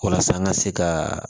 Walasa an ka se ka